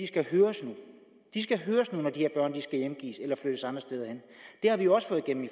skal høres de skal høres nu når de her skal hjemgives eller flyttes andre steder hen det har vi jo også fået igennem i